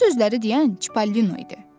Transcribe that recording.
Bu sözləri deyən Çipallino idi.